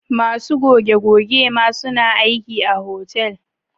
Masu goge- goge ma suna aiki a hotel